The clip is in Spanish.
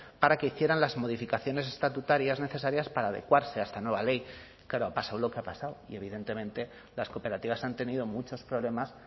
para que hicieran las modificaciones estatutarias necesarias para adecuarse a esta nueva ley claro ha pasado lo que ha pasado y evidentemente las cooperativas han tenido muchos problemas